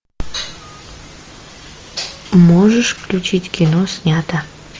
можешь включить кино снято